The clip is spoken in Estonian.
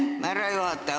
Aitäh, härra juhataja!